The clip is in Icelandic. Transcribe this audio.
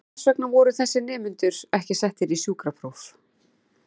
En hvers vegna voru þessir nemendur ekki settir í sjúkrapróf?